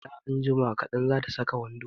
Hala anjima kaɗan, za ta saka wando